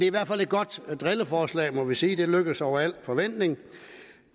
i hvert fald et godt drilleforslag må vi sige det er lykkedes over al forventning